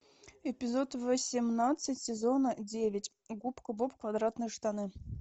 эпизод восемнадцать сезона девять губка боб квадратные штаны